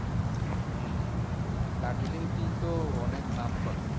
হম হম দার্জিলিং tea তো অনেক নামকরা।